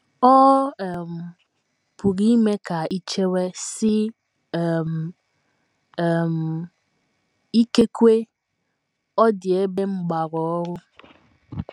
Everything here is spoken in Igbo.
Ọ um pụrụ ime ka i chewe, sị um, um ‘ Ikekwe, ọ dị ebe m gbara ọrụ.